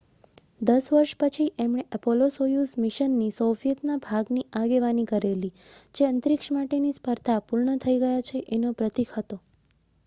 દસ વર્ષ પછી એમણે એપોલો-સોયુઝ મિશનની સોવિયતના ભાગની આગેવાની કરેલી જે અંતરીક્ષ માટેની સ્પર્ધા પૂર્ણ થઈ ગયા છે એનો પ્રતીક હતો